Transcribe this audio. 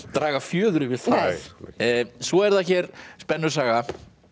draga fjöður yfir það svo er það hér spennusaga